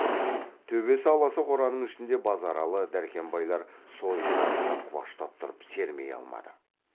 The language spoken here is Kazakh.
төбесі аласа қораның ішінде базаралы дәркембайлар сойылдарын да құлаштап тұрып сермей алмады